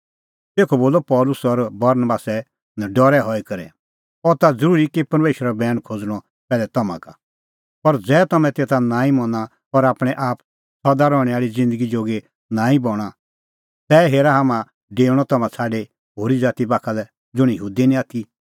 तेखअ बोलअ पल़सी और बरनबासै नडरै हई करै अह त ज़रूरी कि परमेशरो बैण खोज़णअ पैहलै तम्हां का पर ज़ै तम्हैं तेता नांईं मना और आपणैं आप सदा रहणैं आल़ी ज़िन्दगी जोगी नांईं बणां ता हेरा हाम्हां डेऊणअ तम्हां छ़ाडी होरी ज़ाती बाखा लै ज़ुंण यहूदी निं आथी